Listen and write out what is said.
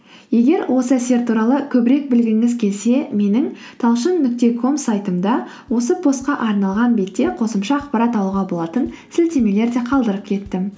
егер осы әсер туралы көбірек білгіңіз келсе менің талшын нүкте ком сайтымда осы постқа арналған бетте қосымша ақпарат алуға болатын сілтемелер де қалдырып кеттім